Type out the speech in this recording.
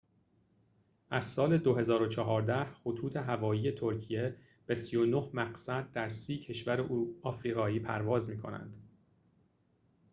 از سال ۲۰۱۴ خطوط‌هوایی ترکیه به ۳۹ مقصد در ۳۰ کشور آفریقایی پرواز می‌کنند